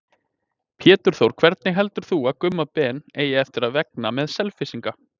Pétur Þór Hvernig heldur þú að Gumma Ben eigi eftir að vegna með Selfyssinga?